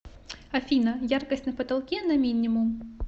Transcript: афина яркость на потолке на минимум